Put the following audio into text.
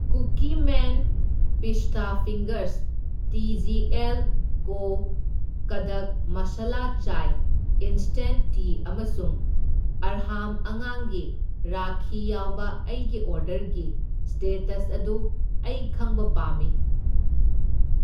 Cookie man pista fingers, T G L co. Kadak masala chai instant tea ꯑꯃꯁꯨꯡ ꯑꯔꯍꯥꯝ ꯑꯉꯥꯡꯒꯤ ꯔꯥꯈꯤ ꯌꯥꯎꯕ ꯑꯩꯒꯤ ꯑꯣꯔꯗꯔꯒꯤ ꯁ꯭ꯇꯦꯇꯁ ꯑꯗꯨ ꯑꯩ ꯈꯪꯕ ꯄꯥꯝꯃꯤ꯫